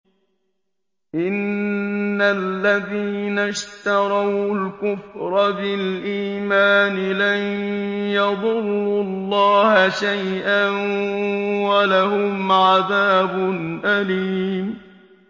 إِنَّ الَّذِينَ اشْتَرَوُا الْكُفْرَ بِالْإِيمَانِ لَن يَضُرُّوا اللَّهَ شَيْئًا وَلَهُمْ عَذَابٌ أَلِيمٌ